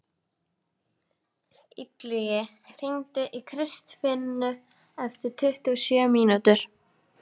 Illugi, hringdu í Kristfinnu eftir tuttugu og sjö mínútur.